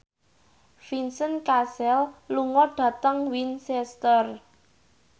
Vincent Cassel lunga dhateng Winchester